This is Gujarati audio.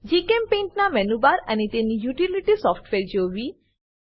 જીચેમ્પેઇન્ટ ના મેનુબાર અને તેની યુટીલીટી સોફ્ટવેર જોવી